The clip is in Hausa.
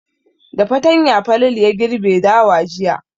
Da fatanya Falalu ya girbe dawa jiya.